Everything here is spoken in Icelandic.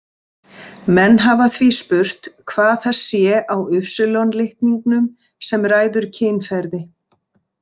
Menn hafa því spurt hvað það sé á Y-litningnum sem ræður kynferði.